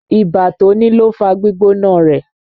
Ibà tó ní ló fá gbígbóná rẹ̀.